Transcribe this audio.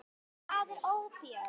Hvað eru ópíöt?